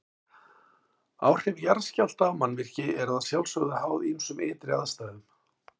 Áhrif jarðskjálfta á mannvirki eru að sjálfsögðu háð ýmsum ytri aðstæðum.